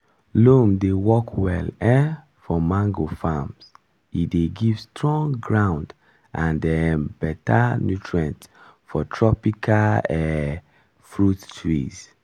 loam dey work well um for mango farms e dey give strong ground and um better nutrient for tropical um fruit trees.